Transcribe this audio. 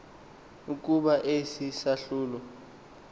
ukuba esi sahlulo